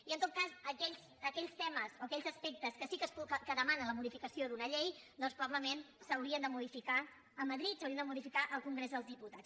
i en tot cas aquells temes o aquells aspectes que demanen la modificació d’una llei doncs probablement s’haurien de modificar a madrid s’haurien de modificar al congrés dels diputats